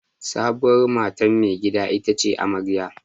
Sabuwar matan maigida ita ce amarya.